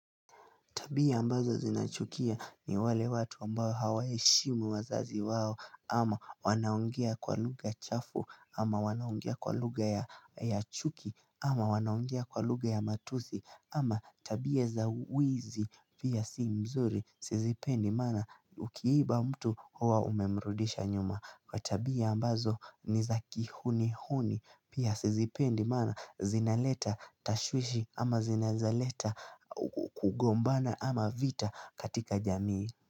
Tabia ambazo zinachukia ni wale watu ambao hawaheshimu wazazi wao ama wanaongea kwa lugha chafu ama wanaongea kwa lugha ya chuki ama wanaongea kwa lugha ya matusi ama tabia za wizi pia si mzuri sizipendi mana ukiiba mtu huwa umemrudisha nyuma. Kwa tabia ambazo ni za ki huni huni Pia sizipendi mana zinaleta tashwishi ama zinaezaleta kugombana ama vita katika jamii.